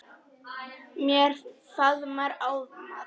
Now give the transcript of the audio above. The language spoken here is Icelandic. Mér miðar áfram.